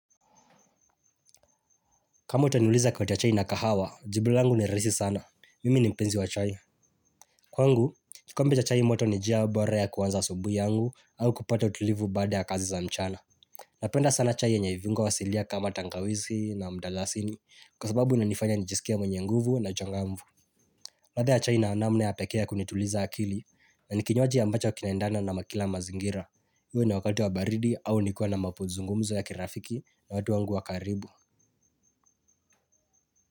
Kama utaniuliza kati ya chai na kahawa, jibu langu ni raisi sana. Mimi ni mpenzi wa chai. Kwangu, kikombe cha chai moto ni jia bora ya kuanza asubui yangu au kupata utulivu baada ya kazi za mchana. Napenda sana chai yenye viungo asilia kama tangawizi na mdalasini kwa sababu inanifanya nijisikia mwenye nguvu na changamvu. Ladha ya chai na namna ya pekee ya kunituliza akili na ni kinywaji ambacho kinaendana na kila mazingira. Iwe ni wakati wa baridi au nikiwa na mapuzungumzo ya kirafiki na watu wangu wa karibu.